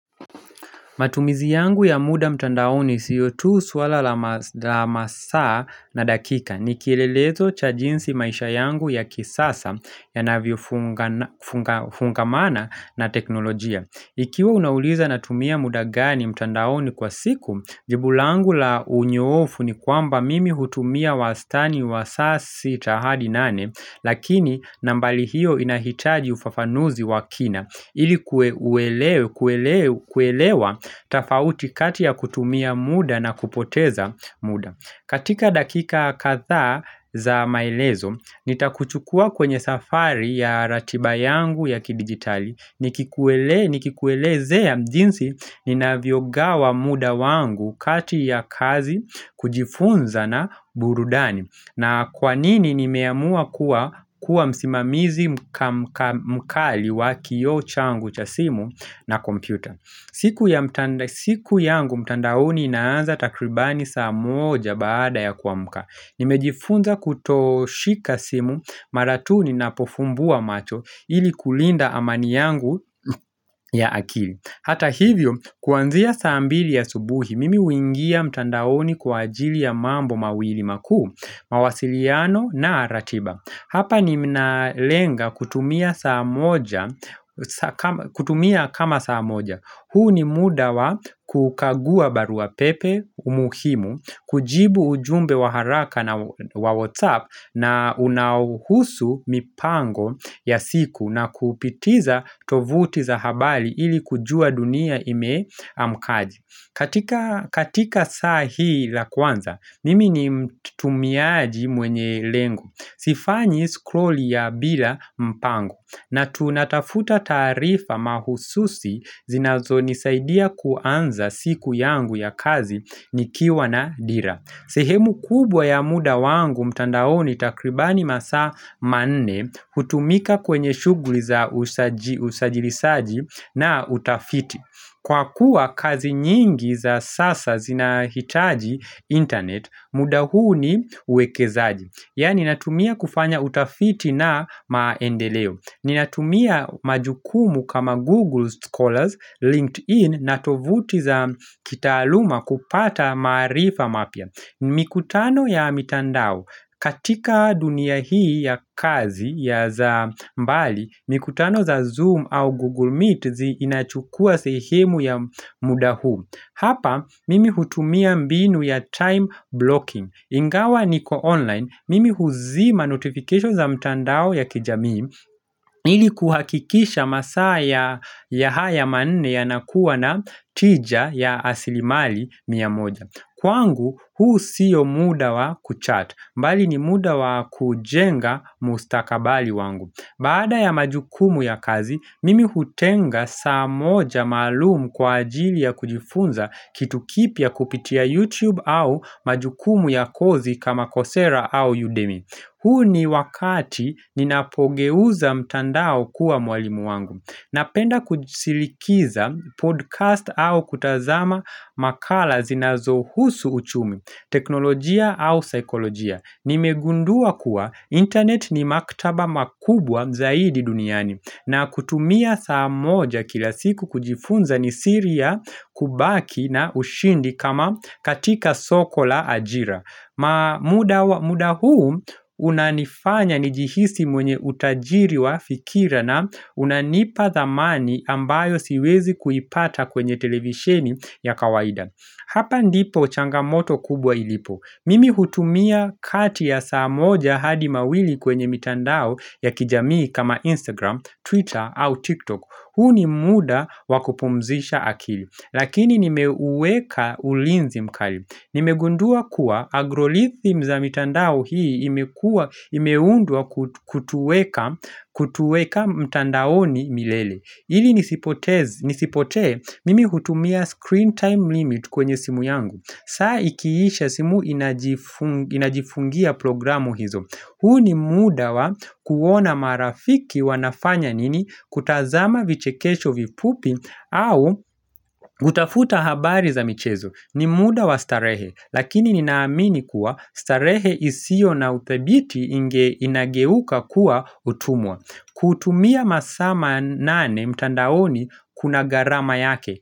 Matumizi yangu ya muda mtandaoni siyo tu swala la masaa na dakika ni kielelezo cha jinsi maisha yangu ya kisasa yanavyofungamana na teknolojia. Ikiwa unauliza natumia muda gani mtandaoni kwa siku, jibu langu la unyoofu ni kwamba mimi hutumia wastani wa saa sita hadi nane, lakini nambari hiyo inahitaji ufafanuzi wa kina, ili kuelewa tofauti kati ya kutumia muda na kupoteza muda. Katika dakika kadhaa za maelezo, nitakuchukua kwenye safari ya ratiba yangu ya kidijitali Nikikuelezea jinsi ninavyogawa muda wangu kati ya kazi kujifunza na burudani na kwa nini nimeamua kuwa msimamizi mkali wa kioo changu cha simu na kompyuta siku yangu mtandaoni inaanza takribani saa moja baada ya kuamka Nimejifunza kutoshika simu mara tu ninapofumbua macho ili kulinda amani yangu ya akili. Hata hivyo kuanzia saa mbili ya asubuhi mimi huingia mtandaoni kwa ajili ya mambo mawili makuu mawasiliano na ratiba Hapa ninalenga kutumia kama saa moja huu ni muda wa kukagua barua pepe umuhimu, kujibu ujumbe wa haraka na wa WhatsApp na unahusu mipango ya siku na kupitiza tovuti za habari ili kujua dunia imeamkaje. Katika saa hii la kwanza, nimi ni mtumiaji mwenye lengo. Sifanyi skroli ya bila mpango na tunatafuta taarifa mahususi zinazonisaidia kuanza siku yangu ya kazi ni kiwa na dira. Sehemu kubwa ya muda wangu mtandaoni takribani masaa manne hutumika kwenye shughuli za usajilisaji na utafiti Kwa kuwa kazi nyingi za sasa zinahitaji internet muda huu ni uwekezaji Yani natumia kufanya utafiti na maendeleo Ninatumia majukumu kama Google Scholars, LinkedIn na tovuti za kitaaluma kupata maarifa mapya mikutano ya mitandao, katika dunia hii ya kazi ya za mbali, mikutano za Zoom au Google Meet zinachukua sehemu ya muda huu Hapa, mimi hutumia mbinu ya time blocking Ingawa niko online, mimi huzima notification za mitandao ya kijami ili kuhakikisha masaa ya ya haya manne yanakuwa na tija ya asilimali miamoja Kwangu huu sio muda wa kuchat bali ni muda wa kujenga mustakabali wangu Baada ya majukumu ya kazi mimi hutenga saa moja maalumu kwa ajili ya kujifunza kitu kipya kupitia YouTube au majukumu ya kozi kama kosera au Udemy huu ni wakati ninapogeuza mtandao kuwa mwalimu wangu Napenda kusilikiza podcast au kutazama makala zinazohusu uchumi, teknolojia au saikolojia. Nimegundua kuwa internet ni maktaba makubwa zaidi duniani na kutumia saa moja kila siku kujifunza ni siri ya kubaki na ushindi kama katika soko la ajira. Muda huu unanifanya nijihisi mwenye utajiri wa fikira na unanipa dhamani ambayo siwezi kuipata kwenye televisheni ya kawaida. Hapa ndipo changamoto kubwa ilipo. Mimi hutumia kati ya saa moja hadi mawili kwenye mitandao ya kijamii kama Instagram, Twitter au TikTok. Huu ni muda wa kupumzisha akili. Lakini nimeuweka ulinzi mkali. Nimegundua kuwa agrolithim za mitandao hii imeundwa kutuweka mtandaoni milele ili nisipotee mimi hutumia screen time limit kwenye simu yangu saa ikiisha simu inajifungia programu hizo huu ni muda wa kuona marafiki wanafanya nini kutazama vichekesho vifupi au hutafuta habari za michezo ni muda wa starehe, lakini ninaamini kuwa starehe isiyo na uthabiti inageuka kuwa utumwa. Kutumia masaa manane mtandaoni kuna gharama yake.